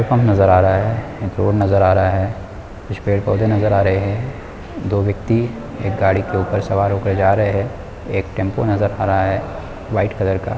pump नज़र आ रहा है रोड नज़र आ रहा है कुछ पेड़-पौधे नज़र आ रहे है दो व्यक्ति एक गाड़ी के ऊपर सवार हो कर जा रहे है एक टेम्पो नज़र आ रहा है व्हाइट कलर का --